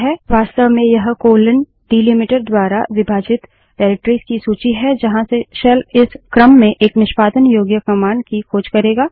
वास्तव में यह कोलन डीलिमीटर द्वारा विभाजित निर्देशिकाओं डाइरेक्टरिस की सूची है जहाँ से शेल इस क्रम में एक निष्पादन योग्य कमांड की खोज करेंगा